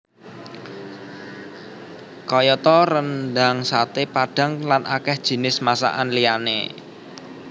Kayata rendhang saté padhang lan akèh jinis masakan liyané